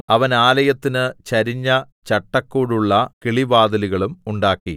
അവൻ ആലയത്തിന് ചരിഞ്ഞ ചട്ടക്കൂടുള്ള കിളിവാതിലുകളും ഉണ്ടാക്കി